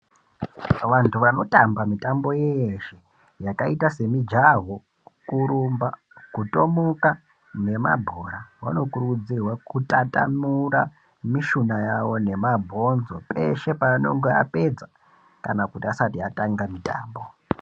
Vantu vanotamba mitambo yeshe yakaita semujaho kurumba kutomuka nemqbhora vanokurudzirwa kutatamura mishuna yawo nemabhonzo peshe paanenga apedza kana kuti asati atanga mutambo.